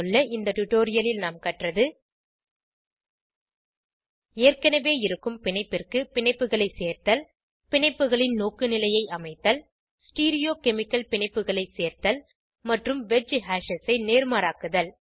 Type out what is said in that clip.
இந்த டுடோரியலில் நாம் கற்றது ஏற்கனவே இருக்கும் பிணைப்பிற்கு பிணைப்புகளை சேர்த்தல் பிணைப்புகளின் நோக்குநிலையை அமைத்தல் ஸ்டீரியோகெமிகல் பிணைப்புகளை சேர்த்தல் மற்றும் வெட்ஜ் ஹேஷஸ் ஐ நேர்மாறாக்குதல்